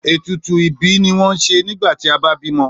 Ètùtù ìbí ni wọ́n ń ṣe nígbà tí a bá bímọ.